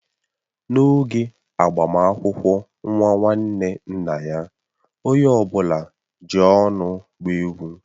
N'oge agbamakwụkwọ nwa nwanne nna ya, onye ọbụla ji ọṅụ gbaa egwu.